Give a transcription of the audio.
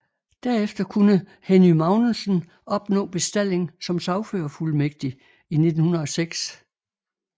Derefter kunne Henny Magnussen opnå bestalling som sagførerfuldmægtig i 1906